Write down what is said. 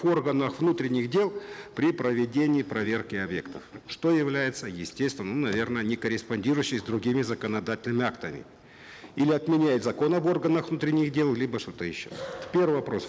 органов внутренних дел при проведении проверки объектов что является естественным ну наверно не корреспондирующей с другими законодательными актами или отменяет закон об органах внутренних дел либо что то еще первый вопрос